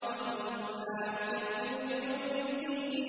وَكُنَّا نُكَذِّبُ بِيَوْمِ الدِّينِ